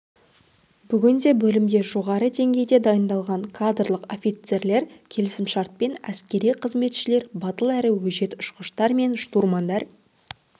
бүгінде бөлімде жоғары деңгейде дайындалған кадрлық офицерлер келісімшартпен әскери қызметшілер батыл әрі өжет ұшқыштар мен штурмандар